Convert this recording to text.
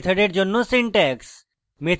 এবং arguments সহ মেথডের জন্য সিনট্যাক্স